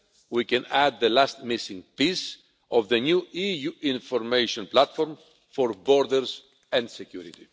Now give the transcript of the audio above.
we can add the last missing piece of the new EU information platform for borders and security.